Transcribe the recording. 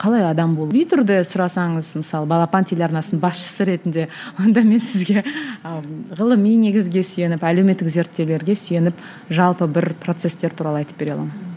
қалай адам болу сұрасаңыз мысалы балапан телеарнасының басшысы ретінде онда мен сізге ы ғылыми негізге сүйеніп әлеуметтік зерттеулерге сүйеніп жалпы бір процестер туралы айтып бере аламын